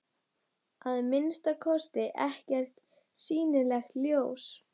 Að minnsta kosti ekkert sýnilegt ljós.